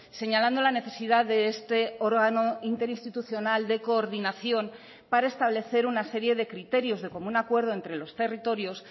señalando la necesidad de este órgano interinstitucional de coordinación para establecer una serie de criterios de común acuerdo entre los territorios